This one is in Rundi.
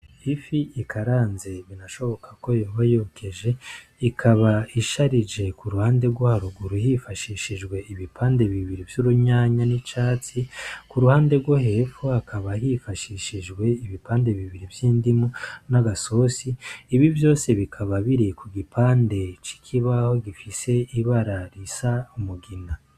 Ifi ikaranze binashoboka ko yoba yokeje, ikaba isharije ku ruhande rwo haruguru hifashishijwe ibipande bibiri vy'urunyanya n'icatsi. Ku ruhande rwo hepfo hakaba hifashishijwe ibipande bibiri vy'indimu n'agasosi, ibi vyose bikaba biri ku gipande c'ikibaho gifise ibara risa umugina.